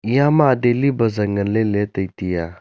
eyama daily bazaar nganley let tai tiya.